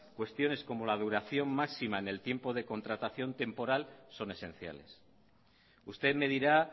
cuestiones como la duración máxima en el tiempo de contratación temporal son esenciales usted me dirá